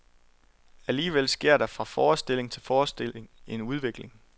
Alligevel sker der fra forestilling til forestilling en udvikling.